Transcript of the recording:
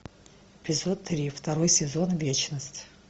эпизод три второй сезон вечность